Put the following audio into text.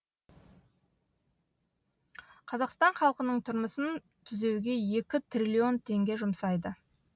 қазақстан халқының тұрмысын түзеуге екі трлн теңге жұмсайды